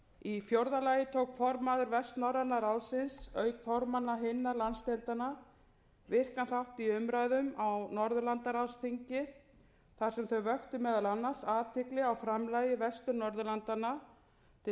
í fjórða lagi tók formaður vestnorræna ráðsins auk formanna hinna landsdeildanna virkan þátt í umræðum á norðurlandaráðsþingi þar sem þau vöktu meðal annars athygli á framlagi vestur norðurlandanna til